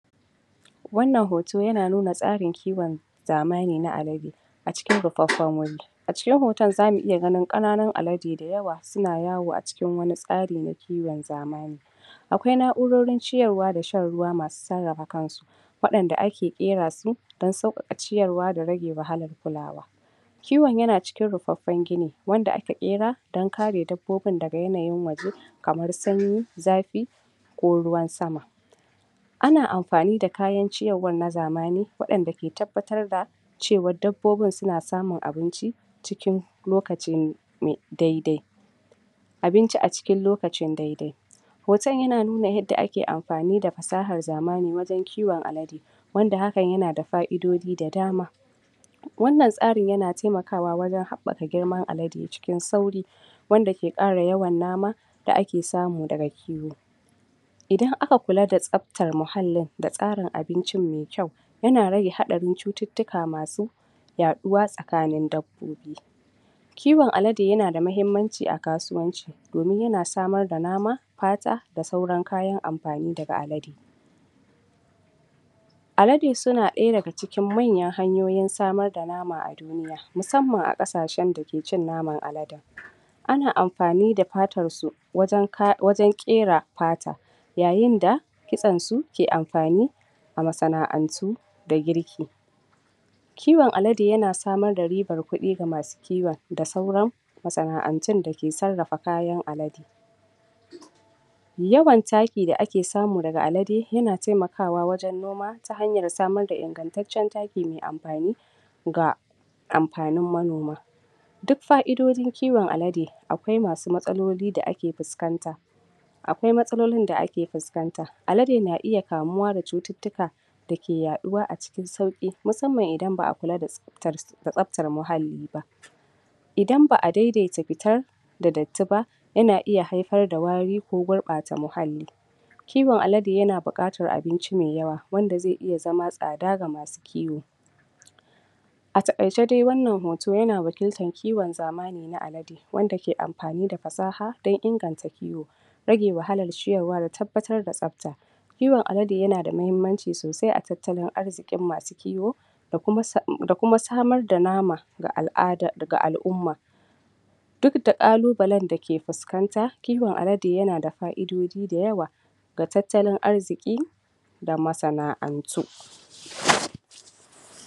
Wannan hoto yana nuna tsarin kiwon zamani na alade a cikin rufaffen wuri, a cikin hoton zamu iya gani kananun alade da yawa suna yawo a cikin wani tsari na kiwon zamani akwai na'urorin ciyarwa da shan ruwa masu sarrafa kan su wadanda ake kera su dan saukaka ciyarwa da rage wahalar kulawa, kiwon yana cikin rufaffen gini wanda aka kera dan kare dabbobin daga yanayin waje kamar sanyi zafi ko ruwan sama, ana amfani da kayan ciyarwar na zamani wadanda ke tabbatar da cewa dabbobin suna samun abinci cikin lokacin dai dai abinci a cikin lokacin dai dai, hoton yana nuna yadda ake amfani da fasahar zamani wajen kiwon alade wanda hakan yana da fa'idodi da dama, wannan tsarin yana taimakawa wajen habaka girman alade cikin sauri wanda ke kara yawan nama da ake samu daga kiwo, idan aka kula da tsaftar muhallin da tsarin abincin me kyau yana rage hadarin cututtuka masu yaduwa tsakanin dabbobi, kiwon alade yana da mahimmaci a kasuwanci domin yana samar da nama fata da kuma sauran kayan amfani daga alade, alade suna daya daga cikin manyan hanyar samar da nama a duniya musamman a kasashen da ke cin naman aladen, ana amfani da fatar su wajen kera fata, yayin da kitsen su ke amfani a ma sana'antu na girki kiwon alade yana samar da ribar kufi masu kiwon da sauran ma sana'antun da ke sarrafa alade, yawan taki da ake samu daga alade yana taimakawa wajen noma ta hanyar samar da ingantaccen taki me amfani ga amfanin manoma, dik fa'idodin kiwon alade akwai masu matsaloli da ake fuskanta,, akwai matsalolin da ake fuskanta, alade na iya kamuwa da cututtuka dake yaduwa a cikin sauki, musamman idan ba'a kula da tsaftar muhalli ba, idan ba'a daidai ta fitar da datti ba, yana iya haifar da wari ko gurbata muhalli, kiwon alade yana bukatar abinci me yawa wanda zai ita zama tsada ga masu kiwo a takaice dai wannan hoto yana wakiltar kiwon zamani na alade, wanda ke amfani da fasaha dan inganta kiwo, rage wahalar ciyarwa da tabbatar da tsafta, kiwon alade yana da mahimmaci sosai a tattalin arzikin masu da kuma samar da nama ga ala'ada ga alumna, dik da kalubayen dake fuskanta, kiwon alade yana sa fa'idodi da yawa ga tattalin arziki ga ma sana'antu.